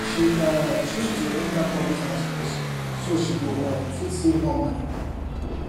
she um choose to enter public transport so she go um fit save more money